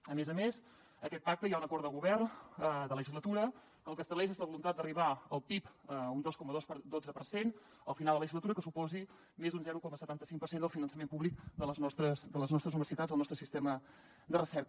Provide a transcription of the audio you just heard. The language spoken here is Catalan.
a més a més d’aquest pacte hi ha un acord de govern de legislatura que el que estableix és la voluntat d’arribar al pib a un dos coma dotze per cent al final de la legislatura que suposi més d’un zero coma setanta cinc per cent del finançament públic de les nostres universitats el nostre sistema de recerca